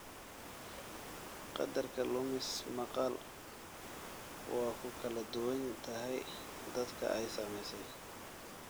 Qadarka lumis maqal waa ku kala duwan tahay dadka ay saamaysay.